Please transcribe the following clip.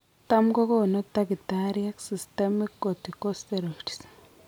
Tam kogonu takitariek systemic corticosteroids